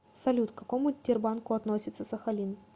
салют к какому тербанку относится сахалин